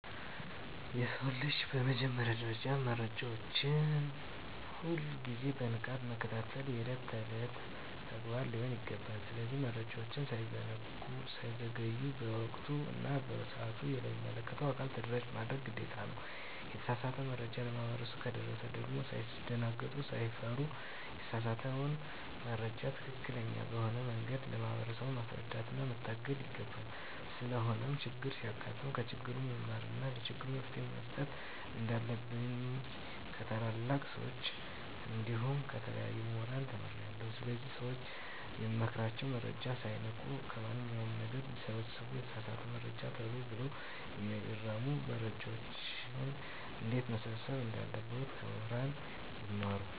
የሰው ልጅ በመጀመሪያ ደረጃ መረጃዎችን ሁል ግዜ በንቃት መከታተል የእለት እለት ተግባሩ ሊሆን ይገባል። ስለዚህ መረጃወች ሳይዘገዩ በወቅቱ እና በሰአቱ ለሚመለከተው አካል ተደራሽ ማድረግ ግዴታ ነው። የተሳሳተ መረጃ ለማህበረሰቡ ከደረሰ ደግም ሳይደነግጡ ሳይፈሩ የተሳሳተውን መረጃ ትክክለኛ በሆነ መንገድ ለማህበረሰቡ ማስረዳትና መታደግ ይገባል። ስለሆነም ቸግር ሲያጋጥም ከችግሩ መማርና ለችግሩ መፈትሄ መስጠት እንንዳለብኝ ከታላላቅ ሰወች እንዲሁም ከተለያዩ ሙህራን ተምሬአለሁ። ስለዚህ ለሰወች የምመክራቸው መረጃወችን ሳይንቁ ከማንኛው ነገር ይሰብስቡ የተሳሳተ መረጃወችን ተሎ ብለው ይርሙ። መረጃወችን እንዴትመሰብሰብ እንዳለባቸው ከሙህራን ይማሩ።